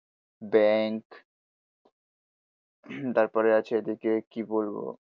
bank তারপরে আছে এদিকে কি বলবো